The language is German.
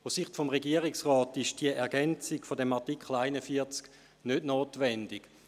Aus Sicht des Regierungsrats ist die Ergänzung des Artikels 41 PRG nicht notwendig.